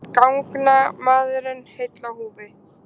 Gangnamaðurinn heill á húfi